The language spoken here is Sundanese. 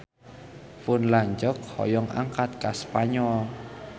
Pun lanceuk hoyong angkat ka Spanyol